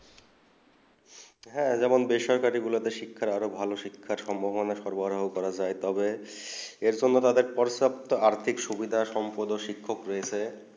হেঁ যেমন বেসরকারি তে শিক্ষা আরও ভালো শিক্ষা সম্ভাবনা সরপাড়ায় করা যায় এর সংঘে তাদের পরিসুখতো আর্থিক সুবিধা সম্বন্ধে শিক্ষা রয়েছে